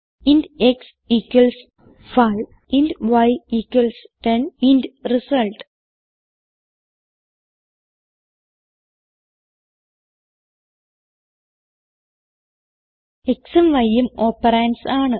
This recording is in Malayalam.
int x 5 int y 10 int result xഉം yഉം ഓപ്പറണ്ട്സ് ആണ്